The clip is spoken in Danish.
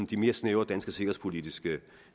de mere snævre danske sikkerhedspolitiske